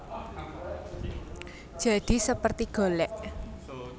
Jadi seperti golek